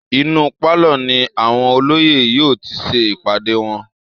Inú pálọ̀ ni àwọn olóyè yóò ti ṣe ìpàdé wọn